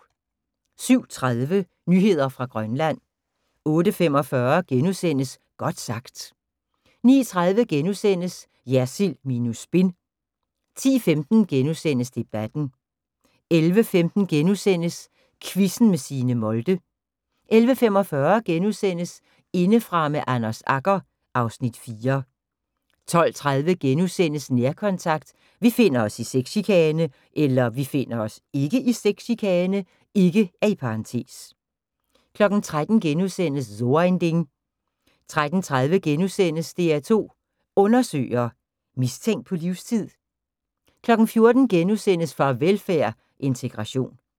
07:30: Nyheder fra Grønland 08:45: Godt sagt * 09:30: Jersild minus spin * 10:15: Debatten * 11:15: Quizzen med Signe Molde * 11:45: Indefra med Anders Agger (Afs. 4)* 12:30: Nærkontakt – Vi finder os (ikke) i sexchikane * 13:00: So ein Ding * 13:30: DR2 Undersøger: Mistænkt på livstid? * 14:00: Farvelfærd: Integration *